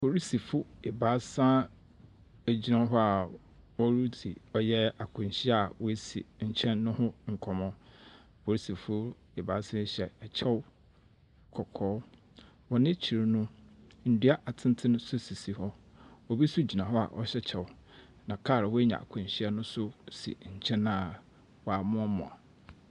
Apolisifoɔ ebaasa gyina hɔ a woridzi ɔyɛ akwanhyia a woesi nkyɛn no ho nkɔmbɔ. Apolisifoɔ ebaasa yi hyɛ kyɛw kɔkɔɔ. Wɔn ekyir no, ndua atenten nso si hɔ. Obi nso gyina hɔ a ɔhyɛ kyɛw, na kar a woenya akwanhyia no nso si nkyɛn a wɔamoamoa.